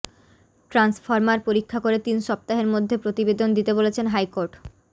transformer পরীক্ষা করে তিন সপ্তাহের মধ্যে প্রতিবেদন দিতে বলেছেন হাইকোর্ট